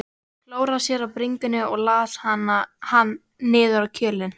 Klóraði sér á bringunni og las hann niður í kjölinn.